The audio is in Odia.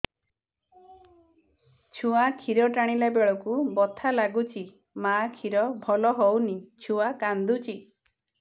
ଛୁଆ ଖିର ଟାଣିଲା ବେଳକୁ ବଥା ଲାଗୁଚି ମା ଖିର ଭଲ ହଉନି ଛୁଆ କାନ୍ଦୁଚି